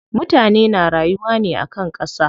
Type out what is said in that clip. Mutane na rayuwa ne akan ƙasa.